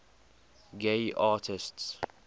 gay artists